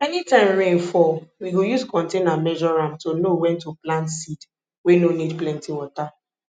anytime rain fall we go use container measure am to know wen to plant seed wey no need plenty water